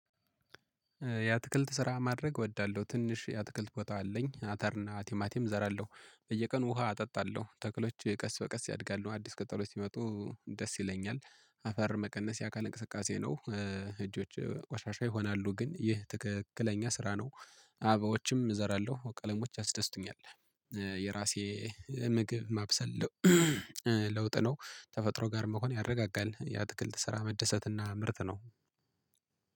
የአትክልት ስራ ማድረግ እወዳለሁ ትንሽ የአትክልት ቦታ አለኝ አተርና ቲማቲም እዘራለሁ በየቀኑ ውሃ አጠጣለሁ ተክሎች ቀስ በቀስ ያድጋሉ አዲስ ቅጠሎች ሲመጡ ደስ ይለኛል። አፈር መቀነስ ያካል እንቅስቃሴ ነው። እጆቼ ቆሻሻ ይሆናሉ ግን ይህ ትክክለኛ ስራ ነው አበባዎችም እዘራለሁ በቃ ቀለሞች ያስደስቱኛል። የራሴ ምግብ ማብሰል። ለውጥ ነው። ተፈጥሮ ጋር መሆን ያረጋጋል የአትክልት ስራ መደሰት እና ምርት ነው።